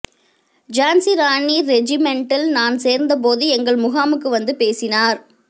ஜான்சிராணி ரெஜிமென்டில் நான் சேர்ந்த போது எங்கள் முகாமுக்கு வந்து பேசினார்